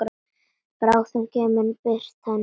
Bráðum kemur birtan hlý.